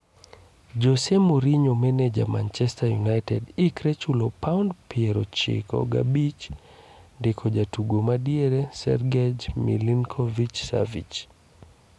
Jose Mourinho maneja manchester united ikre chulo paund piero ochiko gabich ndiko jatugo madiere Sergej Milinkovic-Savic.